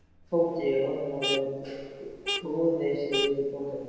Tóti roðnaði og grúfði sig yfir bókina.